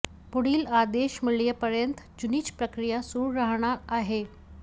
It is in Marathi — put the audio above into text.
पुढील आदेश मिळेपर्यंत जुनीच प्रक्रिया सुरू राहणार आहे